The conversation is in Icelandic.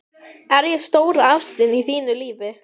Er ég stóra ástin í þínu lífi?